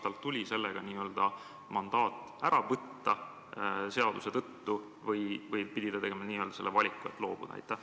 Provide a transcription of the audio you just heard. Kas talt tuli n-ö mandaat ära võtta seaduse tõttu või pidi ta tegema selle valiku, et loobuda?